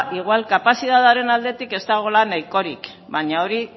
igual kapazitateen aldetik ez dagoela nahikorik baina hori